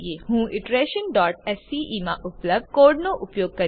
હું iterationસ્કે માં ઉપલબ્ધ કોડનો ઉપયોગ કરીશ